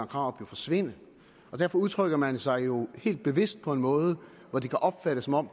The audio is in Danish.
krarup forsvinde derfor udtrykker man sig jo helt bevidst på en måde hvor det kan opfattes som om